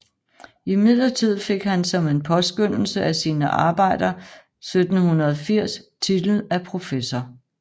Imidlertid fik han som en påskønnelse af sine arbejder 1780 titel af professor